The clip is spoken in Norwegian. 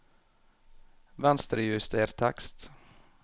Venstrejuster tekst